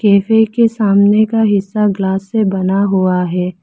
Cafe के सामने का हिस्सा ग्लास से बना हुआ है।